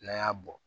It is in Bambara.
N'an y'a bɔ